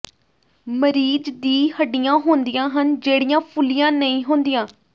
ਮਰੀਜ਼ ਦੀ ਹੱਡੀਆਂ ਹੁੰਦੀਆਂ ਹਨ ਜਿਹੜੀਆਂ ਫੁੱਲੀਆਂ ਨਹੀਂ ਹੁੰਦੀਆਂ